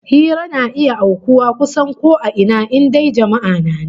Hira na iya aukuwa kusan a ko ina, in dai jama'a na nan